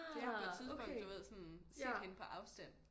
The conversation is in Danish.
Fordi jeg har på et tidspunkt du ved sådan set hende på afstand